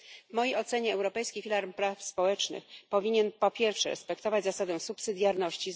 W mojej ocenie europejski filar praw społecznych powinien po pierwsze, respektować zasadę subsydiarności.